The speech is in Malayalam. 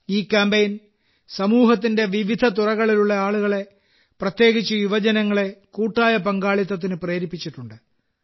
ഈ കാമ്പയിൻ സമൂഹത്തിന്റെ വിവിധ തുറകളിലുള്ള ആളുകളെ പ്രത്യേകിച്ച് യുവജനങ്ങളെ കൂട്ടായ പങ്കാളിത്തത്തിന് പ്രേരിപ്പിച്ചിട്ടുണ്ട്